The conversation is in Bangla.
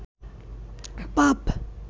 পাপ